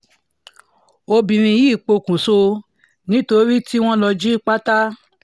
ọbìnrin yìí pọ̀kùṣọ̀ nítorí tí wọ́n lọ jí lọ jí pátá